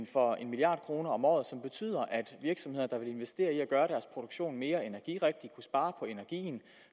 for en milliard kroner om året som betyder at virksomheder der vil investere i at gøre deres produktion mere energirigtig kunne spare på energien